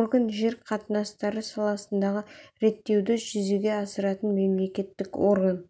орган жер қатынастары саласындағы реттеуді жүзеге асыратын мемлекеттік орган